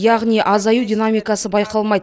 яғни азаю динамикасы байқалмайды